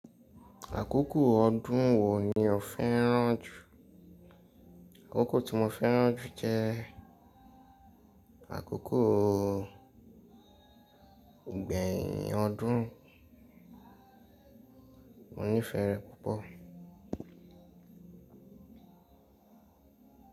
Àkókò ọdún wo ni o fẹ́ràn jù? Àkókò tí mo fẹ́ràn jù jẹ àkókò ìgbẹ̀yìn ọdún. Mo nífẹ̀ẹ́ rẹ̀ púpọ̀.